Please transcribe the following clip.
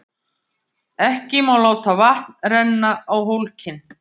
Orðið þetta vísar til setningarinnar í heild.